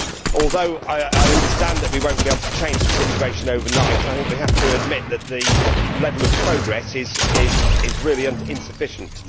Although I understand that we will not be able to change the situation overnight, I think we have to admit that the level of progress is really insufficient.